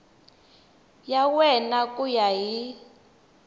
ya wena ku ya hi